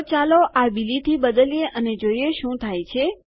તો ચાલો આ બિલીથી બદલીએ અને જોઈએ શું થાય છે